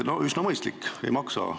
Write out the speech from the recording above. No üsna mõistlik, ei maksa tõesti.